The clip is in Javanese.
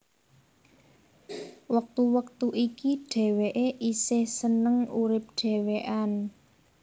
Wektu wektu iki dheweké esih seneng urip dhewekan